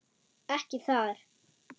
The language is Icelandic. Ekki þar.